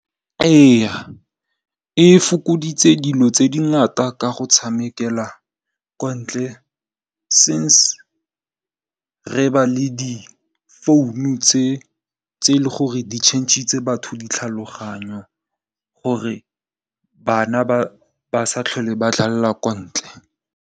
Ee e fokoditse dilo tse dingata ka go tshamekela ko ntle since re ba le di founu tse e leng gore di tšhentsitse batho di tlhaloganyo gore bana ba sa tlhole ba dlalla kwa ntle.